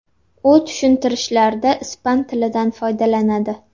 U tushuntirishlarda ispan tilidan foydalanadi.